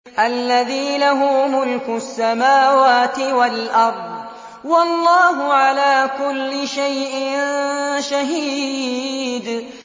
الَّذِي لَهُ مُلْكُ السَّمَاوَاتِ وَالْأَرْضِ ۚ وَاللَّهُ عَلَىٰ كُلِّ شَيْءٍ شَهِيدٌ